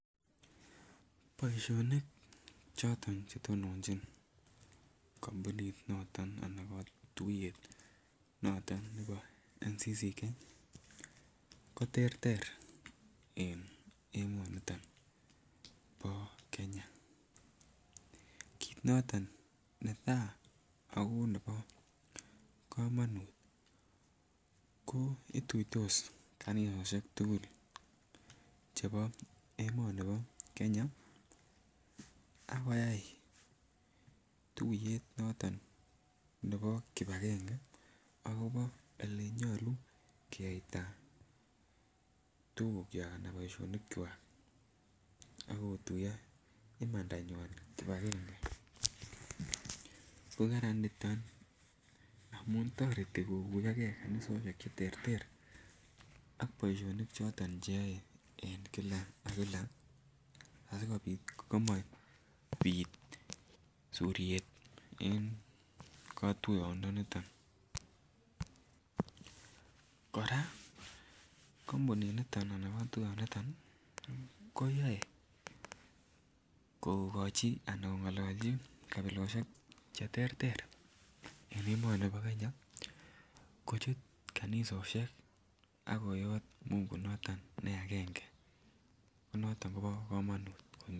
Boisionik choton Che tononjin kotuiyet nebo NCCK ko terter en emonito bo Kenya ko kit noton netai ako nebo komonut ko ituitos kanisosiek tugul chebo emoni bo Kenya ak koyai tuiyet noton nebo kibagenge akobo akobo Ole nyolu keyaita tugukwak anan boisionikwak ak kotuiyo imandanywa kibagenge ko Kararan nito amun toreti koyomo ge kanisosiek Che terter ak boisionik choton Che yoe en kila ak kila asikobit koma bit suryet en kotuyonito kora kotuyonito ko yoe kongolchi kabilosiek Che terter en emoni bo Kenya kochut kanisosiek ak kot mungu ne agenge ko noton ko bo komonut kot mising